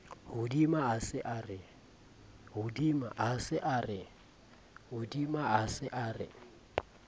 hodima a se a re